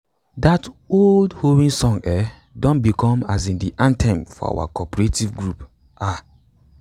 dat old hoeing song um don become um de anthem for our cooperative group um